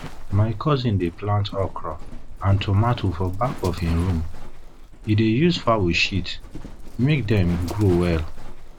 my cousin dey plant okro and tomato for back of him room e dey use fowl shit make dem grow well